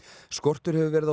skortur hefur verið á